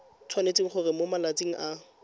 tshwanetse gore mo malatsing a